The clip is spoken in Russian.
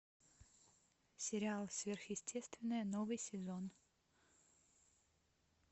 сериал сверхъестественное новый сезон